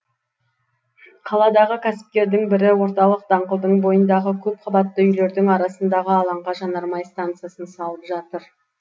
қаладағы кәсіпкердің бірі орталық даңғылдың бойындағы көпқабатты үйлердің арасындағы алаңға жанармай стансасын салып жатыр